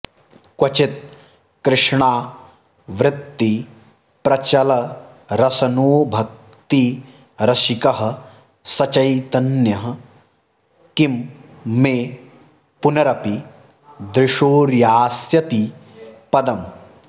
क्वचित् कृष्णावृत्तिप्रचलरसनोभक्तिरसिकः स चैतन्यः किं मे पुनरपि दृशोर्यास्यति पदम्